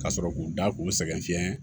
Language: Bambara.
Ka sɔrɔ k'u da k'u sɛgɛn fiɲɛ